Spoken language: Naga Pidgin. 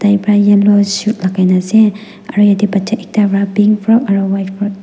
yellow shu lakai na ase aru yatae bacha ekta pra pink frock aro white frock .